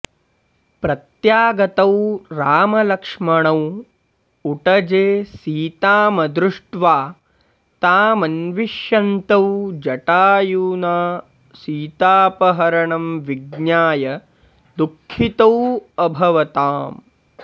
प्रत्यागतौ रामलक्ष्मणौ उटजे सीतामदृष्ट्वा तामन्विष्यन्तौ जटायुना सीतापहरणं विज्ञाय दुःखितौ अभवताम्